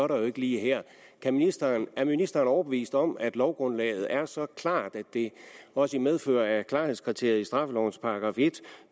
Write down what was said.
der jo ikke lige her er ministeren er ministeren overbevist om at lovgrundlaget er så klart at det også i medfør af klarhedskriteriet i straffelovens § en